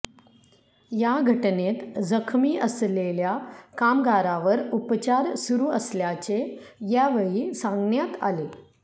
या घटनेत जखमी असलेल्या कामगारावर उपचार सुरू असल्याचे यावेळी सांगण्यात आले